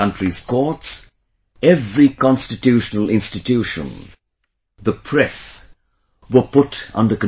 The country's courts, every constitutional institution, the press, were put under control